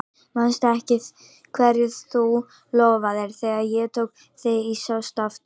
Manstu ekki hverju þú lofaðir þegar ég tók þig í sátt aftur?